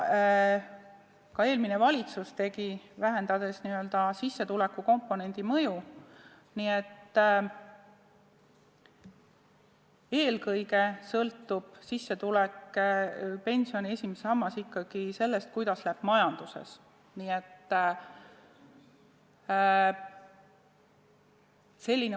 Ka eelmine valitsus tegi seda, vähendades n-ö sissetulekukomponendi mõju, nii et eelkõige sõltub pensioni esimene sammas ikkagi sellest, kuidas läheb majandusel.